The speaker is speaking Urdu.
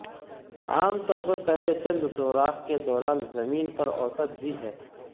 عام طور پر پہلے چند سوراخ کے دوران زمین پر اوسط بھی ہے